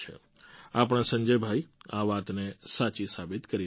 આપણા સંજયભાઈ આ વાતને સાચી સાબિત કરી રહ્યા છે